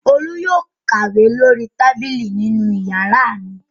Olú yóò kàwé lórí tábìlì nínú ìyàrá mi.